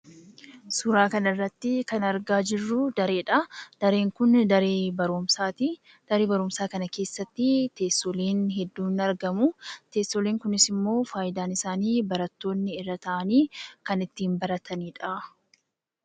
Suuraa kanarratti kan argaa jirru dareedha. Dareen kun daree barumsaati . Daree barumsaa kana keessatti teessoleen hedduun ni argamu. Teessoleen kunisimmoo fayidaan isaanii barattoonni irra taa'anii kan ittiin baratanidha.